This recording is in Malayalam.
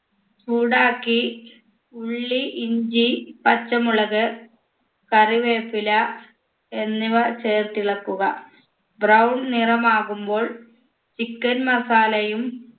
ചൂടാക്കി ഉള്ളി ഇഞ്ചി പച്ചമുളക് കറിവേപ്പില എന്നിവ ചേർത്തിളക്കുക brown നിറമാകുമ്പോൾ chicken masala യും